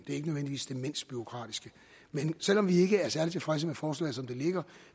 ikke nødvendigvis det mindst bureaukratiske men selv om vi ikke er særlig tilfredse med forslaget som det ligger